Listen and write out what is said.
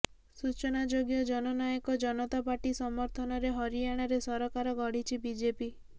ସୂଚନାଯୋଗ୍ୟ ଜନନାୟକ ଜନତା ପାର୍ଟି ସମର୍ଥନରେ ହରିୟାଣାରେ ସରକାର ଗଢ଼ିଛି ବିଜେପି